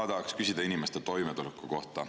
Ma tahaks küsida inimeste toimetuleku kohta.